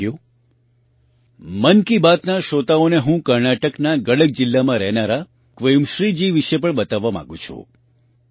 સાથીઓ મન કી બાતના શ્રોતાઓને હું કર્ણાટકના ગડક જિલ્લામાં રહેનારા ક્વેમશ્રીજી વિશે પણ બતાવવા માગું છું